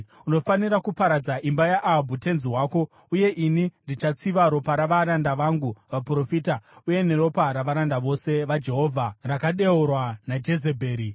Unofanira kuparadza imba yaAhabhu tenzi wako, uye ini ndichatsiva ropa ravaranda vangu vaprofita uye neropa ravaranda vose vaJehovha rakadeurwa naJezebheri.